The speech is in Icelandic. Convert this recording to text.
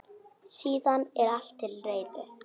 Síðan er allt til reiðu.